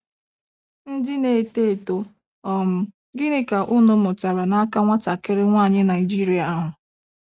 Ndị na - eto eto, um gịnị ka unu mụtara n’aka nwatakịrị nwaanyị Naịjirịa ahụ?